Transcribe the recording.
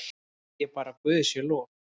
Segi bara guði sé lof.